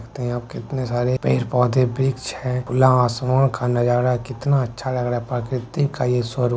देखते है यहां पे कितने सारे पेड़-पौधे वृक्ष है खुला आसमान का नजारा कितना अच्छा लग रहा है प्राकृतिक का ये स्वरूप --